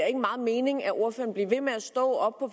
ikke meget mening at ordføreren bliver ved med at stå